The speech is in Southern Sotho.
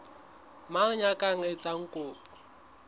mang ya ka etsang kopo